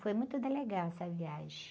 Foi muito legal essa viagem.